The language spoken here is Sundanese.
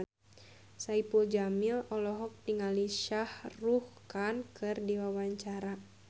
Saipul Jamil olohok ningali Shah Rukh Khan keur diwawancara